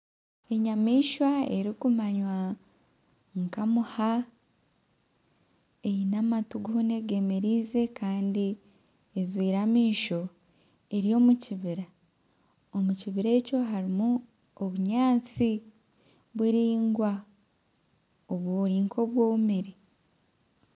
Enyamaishwa erikumaywa nka muha, eine amatu goona egemereize kandi ajwire amaisho eri omu kibira, omu kibira ekyo harimu obunyaatsi buraingwa oburi nk'obwomire